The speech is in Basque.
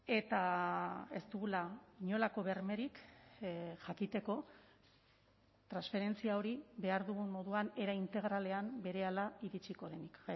eta ez dugula inolako bermerik jakiteko transferentzia hori behar dugun moduan era integralean berehala iritsiko denik